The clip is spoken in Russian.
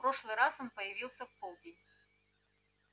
в прошлый раз он появился в полдень